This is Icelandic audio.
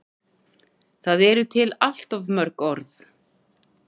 Það eru til allt of mörg orð.